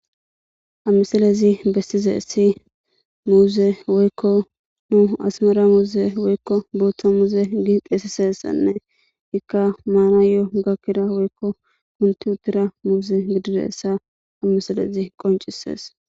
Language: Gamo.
amiselezi bestize essi muuze woykko nu asmara muuze woykko booththa muuze gi qeesisessanne ikka maanayo gakkira woykko kunti uttira muuze gidire essa ammiselezi qoncisees